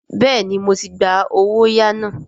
Bẹ́ẹ̀ni, mo ti gba “ owóyàá ” náà.